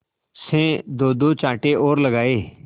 से दोदो चांटे और लगाए